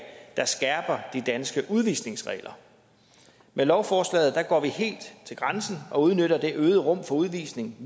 der skærper de danske udvisningsregler med lovforslaget går vi helt til grænsen og udnytter det øgede rum for udvisning